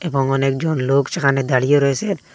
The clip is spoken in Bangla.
এবং অনেক জন লোক সেখানে দাঁড়িয়ে রয়েসেন।